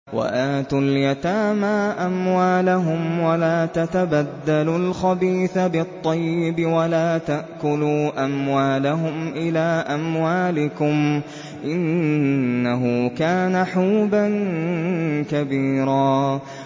وَآتُوا الْيَتَامَىٰ أَمْوَالَهُمْ ۖ وَلَا تَتَبَدَّلُوا الْخَبِيثَ بِالطَّيِّبِ ۖ وَلَا تَأْكُلُوا أَمْوَالَهُمْ إِلَىٰ أَمْوَالِكُمْ ۚ إِنَّهُ كَانَ حُوبًا كَبِيرًا